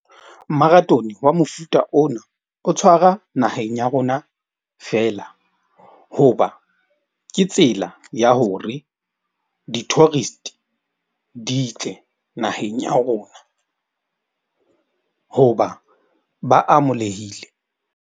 Marathone wa mofuta ona o tshwara naheng ya rona fela, hoba ke tsela ya hore di-tourist di tle naheng ya rona hoba ba amolehile.